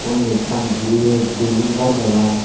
undi ekkan biret building ghor degong.